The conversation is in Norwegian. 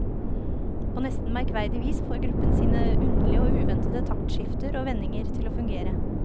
På nesten merkverdig vis får gruppen sine underlige og uventede taktskifter og vendinger til å fungere.